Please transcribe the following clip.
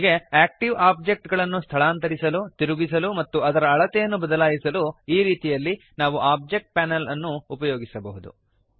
ಹೀಗೆ active object ಅನ್ನು ಸ್ಥಳಾಂತರಿಸಲು ತಿರುಗಿಸಲು ಮತ್ತು ಅದರ ಅಳತೆಯನ್ನು ಬದಲಾಯಿಸಲು ಈ ರೀತಿಯಲ್ಲಿ ನಾವು ಓಬ್ಜೆಕ್ಟ್ ಪ್ಯಾನಲ್ ಅನ್ನು ಉಪಯೋಗಿಸಬಹುದು